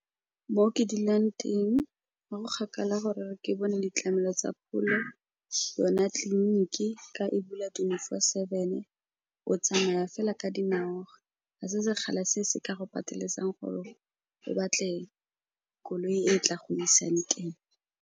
Mo ke dulang teng ga go kgakala gore ke bone ditlamelo tsa pholo, yona tliliniki ka e bula twenty-four seven. O tsamaya fela ka dinao, ga se sekgala se se ka go pateletsang gore o batle koloi e e tla go isang teng.